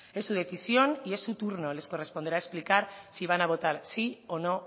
es su decisión y en su turno les corresponderá explicar si van a votar sí o no